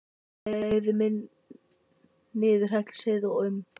Á leið minn niður Hellisheiði og um